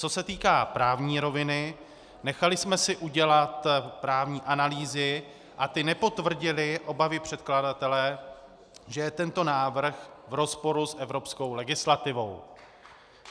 Co se týká právní roviny, nechali jsme si udělat právní analýzy a ty nepotvrdily obavy předkladatele, že je tento návrh v rozporu s evropskou legislativou.